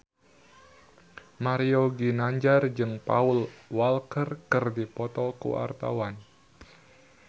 Mario Ginanjar jeung Paul Walker keur dipoto ku wartawan